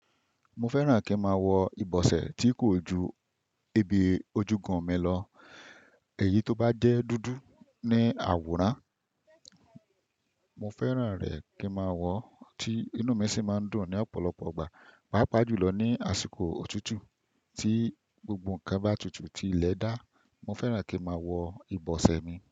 Mo fẹ́ràn kí e máa wọ ìbọsẹ̀ tí kò ju ebi ojúgun mi lọ. Èyí ti ó bá jẹ́ dúdú ní àwòrán. Mo fẹ́ràn rẹ̀ kí n máa wọ, tí inú mi sì máa ń dùn ní ọ̀pọ̀lọpọ̀ ọgbà. Pápa jùlọ ní àsìkò òtútù tí gbogbo ǹnkan bá tutù tí ilẹ̀ dá, mo fẹ́ràn kí n máa wọ ìbọsẹ̀ mi.